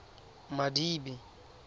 madibe